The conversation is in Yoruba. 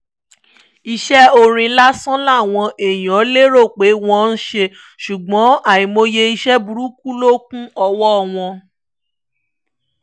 iṣẹ́ orin lásán làwọn èèyàn lérò pé wọ́n ń ṣe ṣùgbọ́n àìmọye iṣẹ́ burúkú ló kún ọwọ́ wọn